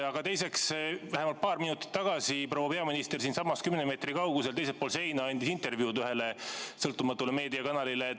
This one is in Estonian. Aga teiseks, paar minutit tagasi andis proua peaminister siinsamas kümne meetri kaugusel teisel pool seina intervjuud ühele sõltumatule meediakanalile.